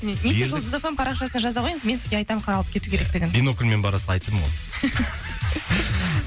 немесе жұлдыз эф эм парақшасына жаза қойыңыз мен сізге айтамын қалай алып кету керектігін бинокльмен барасыз айттым ғой